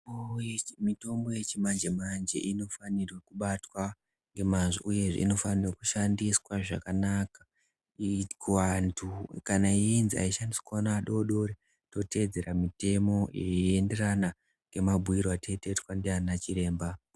Mitombo yechimanje manje inofanirwe kubatwa ngemazvo uyezve inofanirwa kushandiswa zvakanaka iri kuantu kana iyinzi haishandiswi ngevana adoodore totevedzera mitemo inoenderana nemabhuyiro atinenge taita nanachiremba.